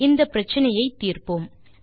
இந்த பிரச்சினையை தீர்ப்போம்